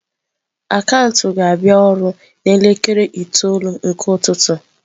Akaụntụ ga-abịa ọrụ n'elekere itoolu nke ụtụtụ.